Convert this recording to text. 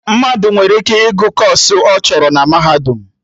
Mmadụ nwere ike ịgụ kọọsụ ọbụla ọ chọrọ na Mahadum